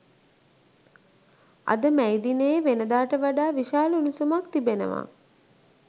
අද මැයි දිනයේ වෙනදාට වඩා විශාල උණුසුමක් තිබෙනවා